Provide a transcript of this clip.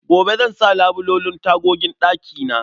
Gobe zan sa labulen tagogin ɗakina.